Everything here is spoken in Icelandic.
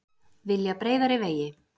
Vilja breiðari vegi